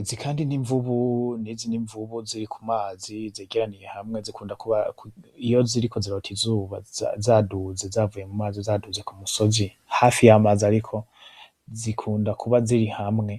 Izi kandi nimvubu nizi nimvubu ziri kumazi zegeraniye hamwe zikunda kuba iyo ziriko zirota izuba zaduze zavuye mumazi zaduze kumusozi hafi yamazi ariko zikunda kuba ziri hamwe,